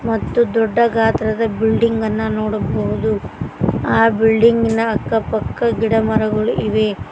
ಮತ್ತು ದೊಡ್ಡ ಗಾತ್ರದ ಬಿಲ್ಡಿಂಗ್ ಅನ್ನ ನೋಡಬಹುದು ಆ ಬಿಲ್ಡಿಂಗ್ ಇನ ಅಕ್ಕ ಪಕ್ಕ ಗಿಡ ಮರಗಳು ಇವೆ.